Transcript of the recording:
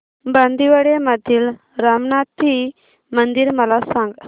बांदिवडे मधील रामनाथी मंदिर मला सांग